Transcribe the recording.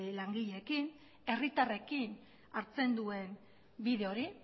langileekin herritarrekin hartzen duen bide hori